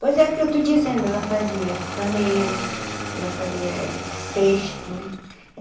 Pois é o que eu estou dizendo, ela fazia paneiro, ela fazia cesta, né?